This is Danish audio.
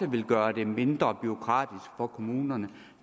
vil gøre det mindre bureaukratisk for kommunerne